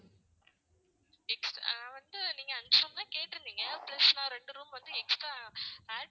நான் வந்துட்டு நீங்க அஞ்சி room தான் கேட்டு இருந்தீங்க plus நான் ரெண்டு room வந்து extra add